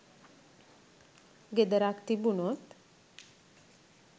ගෙදරක් තිබුණොත්